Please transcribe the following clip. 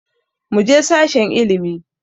Muje sashen ilimi